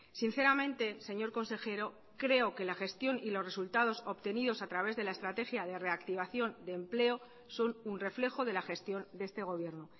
sinceramente señor consejero creo que la gestión y los resultados obtenidos a través de la estrategia de reactivación desempleo son un reflejo de la gestión de este gobierno